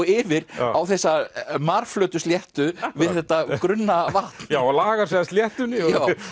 yfir á þessa sléttu við þetta grunna vatn já lagar sig að sléttunni